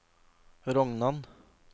Rognan